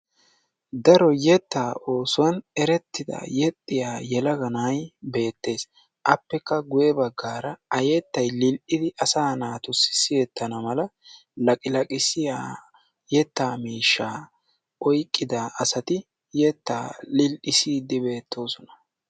Daro yetta oosuwan eretida yeexxiya yelaga na'ay beettes. Appekka guuyye baggaara a yettay lil"idi asa naatuyo siyyetana mala laqilaqissiyaa yetta miishsha oyqqida asati yetta lil"isside beettoosona.